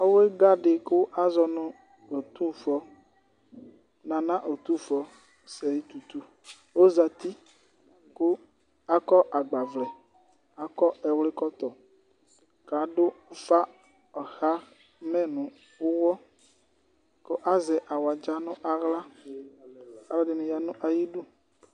Ɔwluga di kʋ azɔ nu ɔtufɔ, nana ɔtufɔ, ɔsɛyi tutu ozati kʋ akɔ agbavlɛ, akɔ ɛwli kɔtɔKadʋ ufa ɣamɛ nʋ uwɔKʋ azɛ awudza nʋ aɣlaAlu ɛdini ya nʋ ayidu